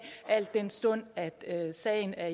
al den stund sagen er